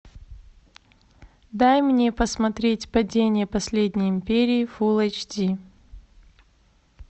дай мне посмотреть падение последней империи фулл эйч ди